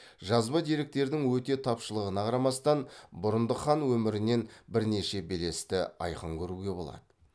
жазба деректердің өте тапшылығына қарамастан бұрындық хан өмірінен бірнеше белесті айқын көруге болады